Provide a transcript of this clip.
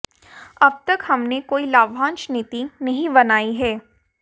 अब तक हमने कोई लाभांश नीति नहीं बनाई है